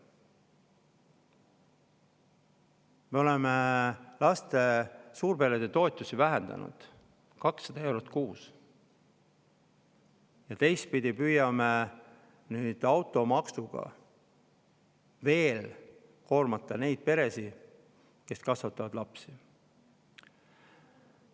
Me oleme suurperede toetusi vähendanud 200 euro võrra kuus ja teistpidi püüame nüüd ka automaksuga veel koormata neid peresid, kes kasvatavad lapsi.